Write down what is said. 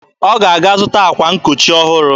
Ọ ga-aga zụta akwa nkochi ọhụrụ.